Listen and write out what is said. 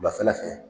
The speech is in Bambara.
Wulafɛla fɛ